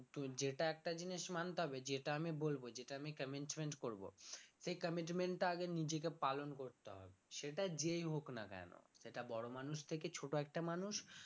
যেটা একটা জিনিস মানতে হবে যেটা আমি বলব যেটা আমি commitment করবো সেই commitment টা আগে নিজেকে পালন করতে হবে সেটা যেই হোক না কেন সেটা বড় মানুষ থেকে ছোট একটা মানুষ